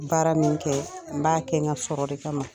Baara min kɛ , n b'a kɛ n ka sɔrɔ de kama.